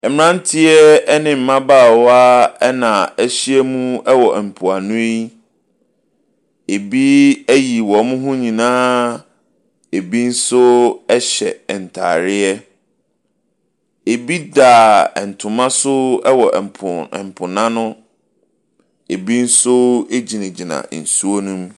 Mmeranteɛ ne mmabaawa na wɔahyia mu wɔ mpoano yi. Ɛbi ayi wɔn ho nyinaaaa ɛbi nso hyɛ ntadeɛ. Ɛbi daaa Ntoma so wɔ mpo mpo no ano. Ɛbi nso gyinagyina nsuop no mu.